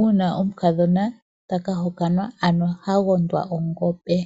uuna omukadhona taka hokanwa, ano ha gondwa ongombe.